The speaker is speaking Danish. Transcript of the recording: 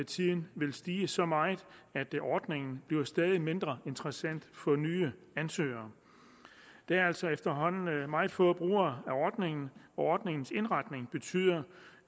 tiden vil stige så meget at ordningen bliver stadig mindre interessant for nye ansøgere der er altså efterhånden meget få brugere af ordningen og ordningens indretning betyder